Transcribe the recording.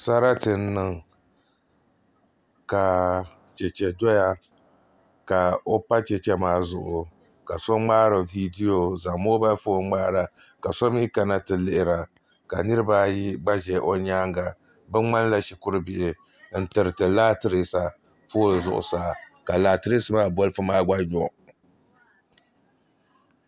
Sarati n niŋ ka chɛchɛ doya ka o pa chɛchɛ maa zuɣu ka so ŋmaari viidiyo n zaŋ moobal foon ŋmaara ka so mii kana ti lihira ka niraba ayi gba ʒɛ o nyaanga bi ŋmanila shikuru bihi n tiriti laatirisa bolfu zuɣusa ka laatirisa maa gba nyo